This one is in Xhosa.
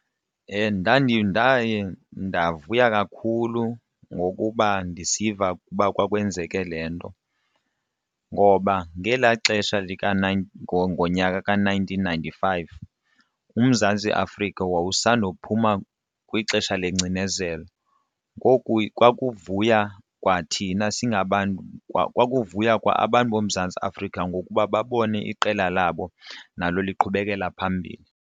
Ndaye ndavuya kakhulu ngokuba ndisiva ukuba kwakwenzeke le nto ngoba ngelaa xesha lika ngonyaka ka-nineteen ninety-five uMzantsi Afrika wawusanda kuphuma kwixesha lengcinezelo. Ngoku kwakuvuya kwathina singabantu kwakuvuywa kwa abantu boMzantsi Afrika ngokuba babone iqela labo nalo liqhubekela phambili.